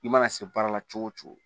I mana se baara la cogo o cogo